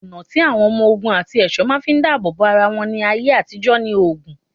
Ọ̀nà tí àwọn ọmọ ogun àti ẹ̀ṣọ́ máa ń fi dábò bo ara wọn ní ayé àtijó ni oògùn.